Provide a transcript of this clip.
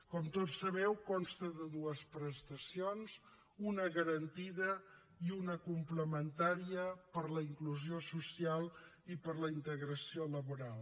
com tots sabeu consta de dues prestacions una garantida i una complementària per a la inclusió social i per a la integració laboral